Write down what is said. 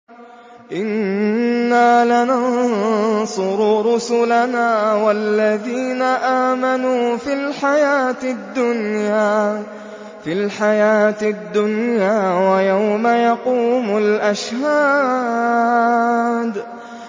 إِنَّا لَنَنصُرُ رُسُلَنَا وَالَّذِينَ آمَنُوا فِي الْحَيَاةِ الدُّنْيَا وَيَوْمَ يَقُومُ الْأَشْهَادُ